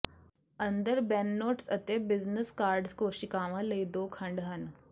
ਅੰਦਰ ਬੈੱਨਨੋਟਸ ਅਤੇ business card ਕੋਸ਼ੀਕਾਵਾਂ ਲਈ ਦੋ ਖੰਡ ਹਨ